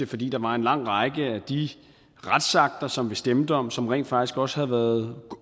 fordi der var en lang række af de retsakter som vi stemte om som rent faktisk også havde